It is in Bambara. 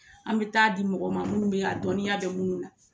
An bI taa di mɔgɔ man munnu be a dɔnniya be minnu na.